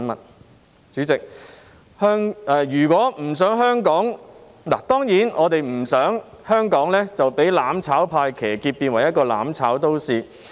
代理主席，我們當然不想香港被"攬炒派"騎劫，變成一個"攬炒"都市。